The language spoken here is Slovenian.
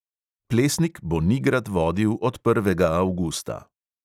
Plesnik bo nigrad vodil od prvega avgusta.